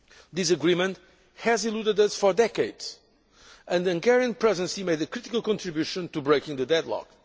This agreement has eluded us for decades and the Hungarian Presidency made a critical contribution to breaking the deadlock.